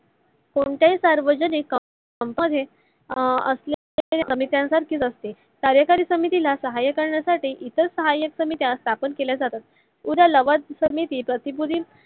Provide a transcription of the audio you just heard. कोणत्य ही सार्वजनिक company त अह असल्यचे सर्खेचे असते. कार्यकरी समितीला सहाय्य करण्या साठी इतर सहायक समित्या स्थपन केल्या जातात. समिती प्र्तीभूतींची